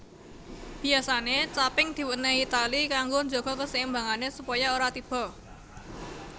Biyasane caping diwenehi tali kanggo njaga keseimbangane supaya ora tiba